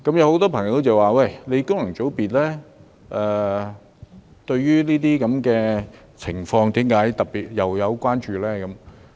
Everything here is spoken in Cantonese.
很多朋友說，功能界別對於這些情況為何特別關注呢？